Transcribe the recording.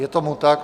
Je tomu tak.